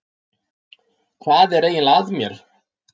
Hvað er eiginlega að mér?